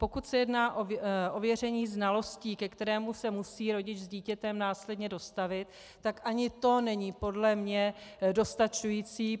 Pokud se jedná o ověření znalostí, ke kterému se musí rodič s dítětem následně dostavit, tak ani to není podle mě dostačující.